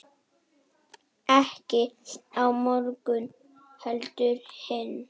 Ekki á morgun heldur hinn.